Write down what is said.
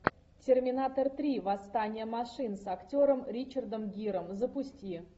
терминатор три восстание машин с актером ричардом гиром запусти